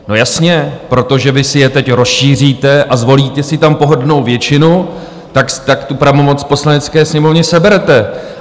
No jasně, protože vy si je teď rozšíříte a zvolíte si tam pohodlnou většinu, tak tu pravomoc Poslanecké sněmovně seberete.